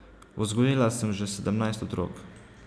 Vzgojila sem že sedemnajst otrok.